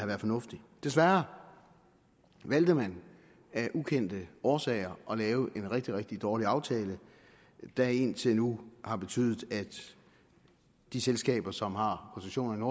været fornuftigt desværre valgte man af ukendte årsager at lave en rigtig rigtig dårlig aftale der indtil nu har betydet at de selskaber som har koncessionerne